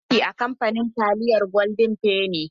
Ina aiki a kamfanin taliyar golden fenny.